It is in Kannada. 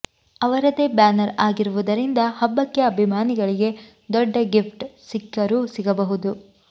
ಅವರದೇ ಬ್ಯಾನರ್ ಆಗಿರುವುದರಿಂದ ಹಬ್ಬಕ್ಕೆ ಅಭಿಮಾನಿಗಳಿಗೆ ದೊಡ್ಡ ಗಿಫ್ಟ್ ಸಿಕ್ಕರು ಸಿಗಬಹುದು